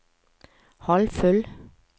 halvfull